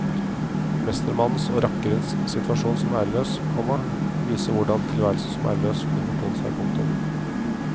Mestermannens og rakkerens situasjon som æreløs, komma viser hvordan tilværelsen som æreløs kunne fortone seg. punktum